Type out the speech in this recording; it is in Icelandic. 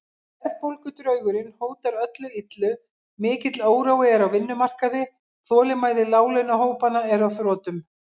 Verðbólgudraugurinn hótar öllu illu, mikill órói er á vinnumarkaði, þolinmæði láglaunahópanna er á þrotum.